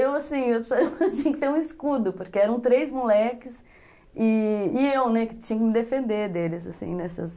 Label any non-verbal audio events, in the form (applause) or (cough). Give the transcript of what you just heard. Eu, assim, (laughs) eu tinha que ter um escudo, porque eram três moleques e eu, né, que tinha que me defender deles, assim, nessas...